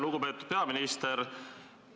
Lugupeetud peaminister!